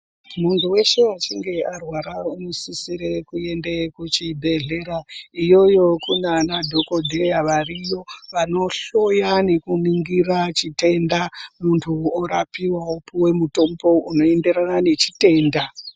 Munhu weshe achinge arwara unosisisire kuende kuchibhedhlera. Iyoyo kunana dhokodheya variyo, vanohloya nekuningira chitenda muntu orapiwa opuwe mutombo unoenderana nechitenda.